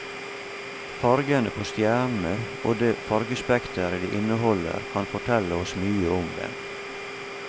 Fargene på stjernene og det fargespektret de inneholder kan fortelle oss mye om dem.